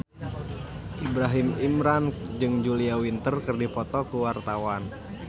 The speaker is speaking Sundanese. Ibrahim Imran jeung Julia Winter keur dipoto ku wartawan